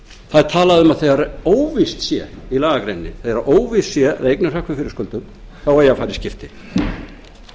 er talað um í lagagreininni að þegar víst sé að þegar eignir hrökkvi fyrir skuldum þá eigi að fara í skipti